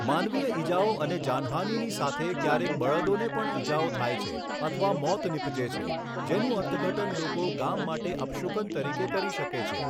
માનવીય ઇજાઓ અને જાનહાનિની સાથે, ક્યારેક બળદોને પણ ઈજાઓ થાય છે અથવા મોત નીપજે છે, જેનું અર્થઘટન લોકો ગામ માટે અપશુકન તરીકે કરી શકે છે.